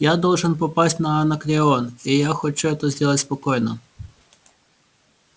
я должен попасть на анакреон и я хочу это сделать спокойно